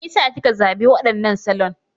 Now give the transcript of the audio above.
Me ya sa kika zaɓi waɗannan salon?